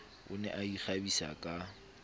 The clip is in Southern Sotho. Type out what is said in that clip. o ne a ikgabisa ka